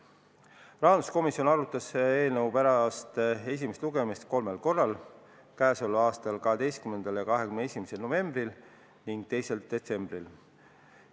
Rahanduskomisjon arutas eelnõu pärast esimest lugemist kolmel korral: k.a 12. ja 21. novembril ning 2. detsembril.